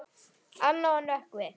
Anna og Nökkvi.